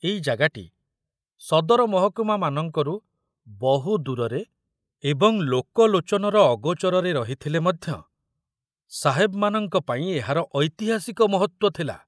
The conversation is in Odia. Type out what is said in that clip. ଏଇ ଜାଗାଟି ସଦର ମହକୁମାମାନଙ୍କରୁ ବହୁ ଦୂରରେ ଏବଂ ଲୋକଲୋଚନର ଅଗୋଚରରେ ରହିଥିଲେ ମଧ୍ୟ ସାହେବମାନଙ୍କ ପାଇଁ ଏହାର ଐତିହାସିକ ମହତ୍ତ୍ବ ଥିଲା।